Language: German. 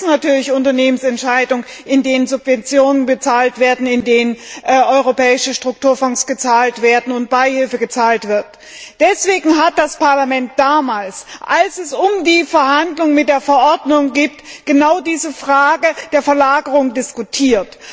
Wir beeinflussen natürlich Unternehmensentscheidungen, indem Subventionen gezahlt werden, indem europäische Strukturfonds gezahlt werden und Beihilfe gezahlt wird. Deshalb hat das Parlament damals, als es um die Verhandlung über die Verordnung ging, genau diese Frage der Verlagerung diskutiert.